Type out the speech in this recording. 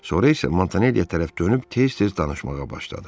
Sonra isə Montanellya tərəf dönüb tez-tez danışmağa başladı.